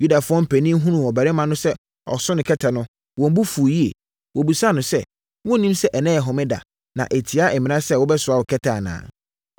Yudafoɔ mpanin hunuu ɔbarima no sɛ ɔso ne kɛtɛ no, wɔn bo fuu yie. Wɔbisaa no sɛ, “Wonnim sɛ ɛnnɛ yɛ homeda na ɛtia mmara sɛ wobɛsoa wo kɛtɛ anaa?”